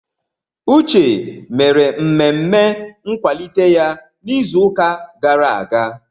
Uche mere mmemme nkwalite ya n'izuụka gara aga.